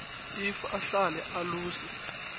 iv ahlale eluse